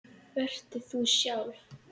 Vertu þú sjálf.